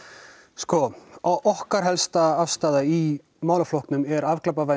sko okkar afstaða í málaflokknum er afglæpavæðing